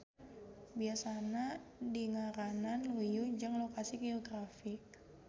Biasana dingaranan luyu jeung lokasi geografi.